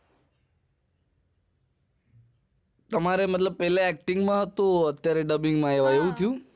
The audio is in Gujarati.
તમારે પેહલા acting માં હતું અત્યારે dubbing માં આવ્યા એવું થયું